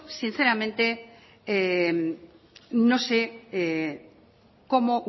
sinceramente no sé cómo